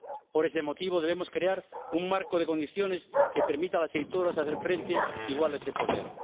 Por ese motivo debemos crear un marco de condiciones que permita a las editoras hacer frente igualmente a ese poder.